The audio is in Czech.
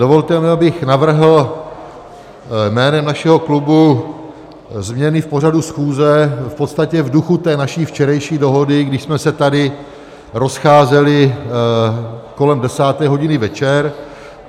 Dovolte mi, abych navrhl jménem našeho klubu změny v pořadu schůze, v podstatě v duchu té naší včerejší dohody, když jsme se tady rozcházeli kolem desáté hodiny večer.